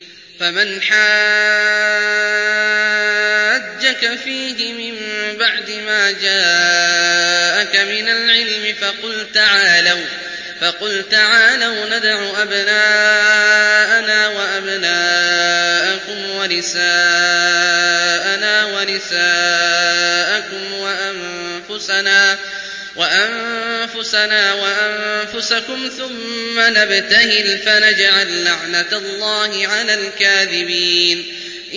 فَمَنْ حَاجَّكَ فِيهِ مِن بَعْدِ مَا جَاءَكَ مِنَ الْعِلْمِ فَقُلْ تَعَالَوْا نَدْعُ أَبْنَاءَنَا وَأَبْنَاءَكُمْ وَنِسَاءَنَا وَنِسَاءَكُمْ وَأَنفُسَنَا وَأَنفُسَكُمْ ثُمَّ نَبْتَهِلْ فَنَجْعَل لَّعْنَتَ اللَّهِ عَلَى الْكَاذِبِينَ